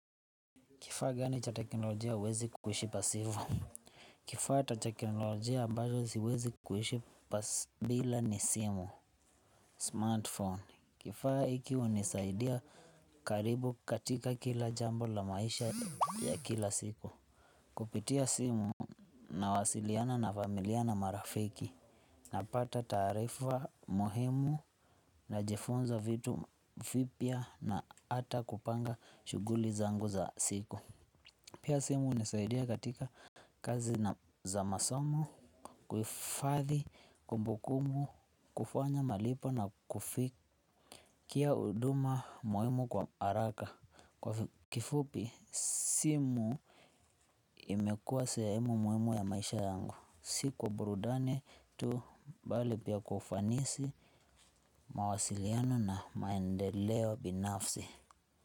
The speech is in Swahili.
Kifaa gani cha teknolojia uwezi kuishi pasivu? Kifaa ta teknolojia ambayo siwezi kuishi pasivu bila ni simu. Smartphone. Kifaa hiki unisaidia karibu katika kila jambo la maisha ya kila siku. Kupitia simu na wasiliana na familia na marafiki. Napata tarifa mohimu najifunza vitu fipia na ata kupanga shughuli zangu za siku. Pia simu inasaidia katika kazi za masomo, kuifadhi, kumbukumu, kufanya malipo na kufikia uduma muhimu kwa haraka. Kwa kifupi, simu imekuwa sehemu muhimu ya maisha yangu. Si kwa burudane tu mbali pia kwa ufanisi mawasiliano na maendeleo binafsi.